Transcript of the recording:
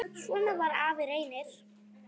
Svona var afi Reynir.